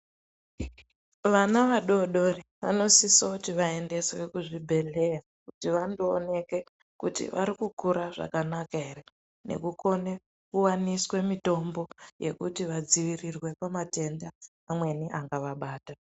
Vana vadodori dori vanosisa kuti vaende kuzvibhedhlera kuti vaonekwe kuti varikukura zvakanaka here nekukona kuti vaoneswe kupiwa mitombo yekudziirira kumatenda amweni angavabata.